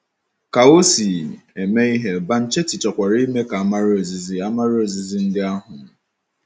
Ka o si eme ihe, Banchetti chọkwara ime ka a mara ozizi a mara ozizi ndị ahụ.